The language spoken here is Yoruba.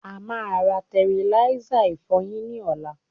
a máa ra tẹriláísà ìfọyín ní ọ̀la.